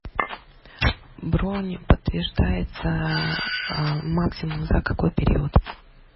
бронь подтверждается максимум за какой период